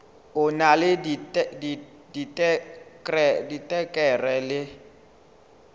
o na le diterekere le